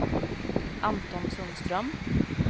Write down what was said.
Anton Sundström